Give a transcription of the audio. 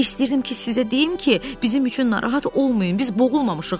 İstəyirdim ki, sizə deyim ki, bizim üçün narahat olmayın, biz boğulmamışıq.